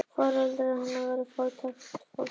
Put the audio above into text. Foreldrar hennar voru fátækt fólk.